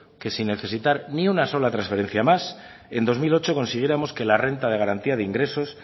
que sin necesitar ni una sola transferencia más en dos mil ocho consiguiéramos que la renta de garantía de ingresos